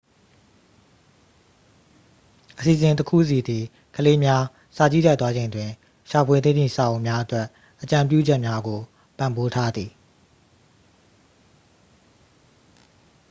အစီအစဉ်တစ်ခုစီသည် ကလေးများ စာကြည့်တိုက် သွားချိန်တွင် ရှာဖွေသင့်သည့် စာအုပ်များအတွက် အကြံပြုချက်များကို ပံ့ပိုးပေးထားသည်